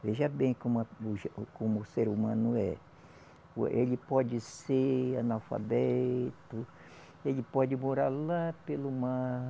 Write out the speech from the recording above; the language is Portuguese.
Veja bem como a o, como o ser humano é. Ele pode ser analfabeto, ele pode morar lá pelo mar.